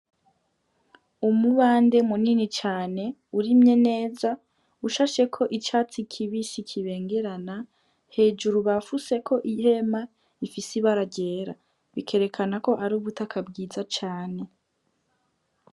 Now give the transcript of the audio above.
Umubande munini cane urimye neza ushasheko icatsi kibisi kibengerana hejuru bafutseko ihema rifise ibara ryera, bikerekanako arubutaka bwiza cane.